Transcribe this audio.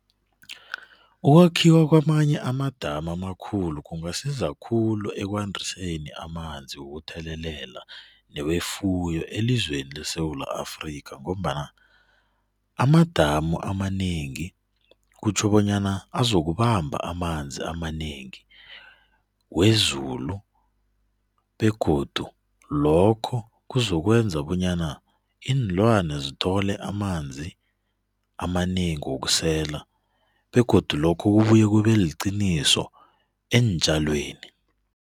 Ukwakhiwa kwamanye amadamu amakhulu kungasiza kakhulu ekwandiseni amanzi wokuthelelela newefuyo elizweni leSewula Afrika ngombana amadamu amanengi kutjho bonyana azokubamba amanzi amanengi wezulu begodu lokho kuzokwenza bonyana iinlwana zithole amanzi amanengi wokusela begodu lokhu kubuya kube liqiniso eentjalweni.